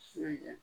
Su ɲɛ